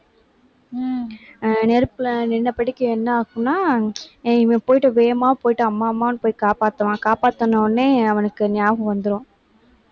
உம் நெருப்புல நின்னபடிக்கு என்ன ஆகும்னா இவன் போயிட்டு வேகமா போயிட்டு அம்மா, அம்மான்னு போய் காப்பாத்துவான். காப்பாத்தின உடனே அவனுக்கு ஞாபகம் வந்துரும்